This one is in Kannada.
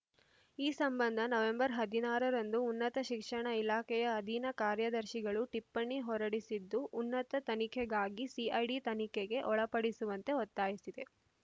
ಈ ಸಂಬಂಧ ನವೆಂಬರ್ ಹದಿನಾರರಂದು ಉನ್ನತ ಶಿಕ್ಷಣ ಇಲಾಖೆಯ ಅಧೀನ ಕಾರ್ಯದರ್ಶಿಗಳು ಟಿಪ್ಪಣಿ ಹೊರಡಿಸಿದ್ದು ಉನ್ನತ ತನಿಖೆಗಾಗಿ ಸಿಐಡಿ ತನಿಖೆಗೆ ಒಳಪಡಿಸುವಂತೆ ಒತ್ತಾಯಿಸಿದೆ